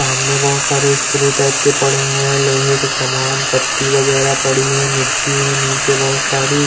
सम्मन बहुत सारे स्क्रू टाइप के पड़े हुए है लोहे के सामान पट्टी बगैरह पड़ी है मिट्टी है नीचे बहुत सारी --